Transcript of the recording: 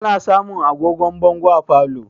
Ana samun agogon bongo a falo